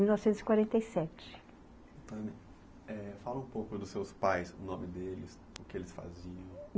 mil novecentos e quarenta e sete, eh, fala um pouco dos seus pais, o nome deles, o que eles faziam.